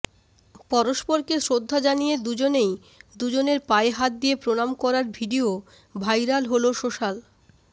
পরস্পরকে শ্রদ্ধা জানিয়ে দুজনেই দুজনের পায়ে হাত দিয়ে প্রণাম করার ভিডিয়ো ভাইরাল হল সোশ্যাল